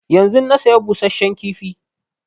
Yanzun na saya busasshen kifi